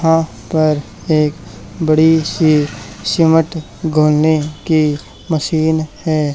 यहां पर एक बड़ी सी सीमेंट घोलने की मशीन है।